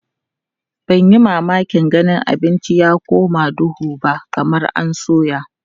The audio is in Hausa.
Ban yi mamakin ganin abincin ya koma duhu ba kamar an soya.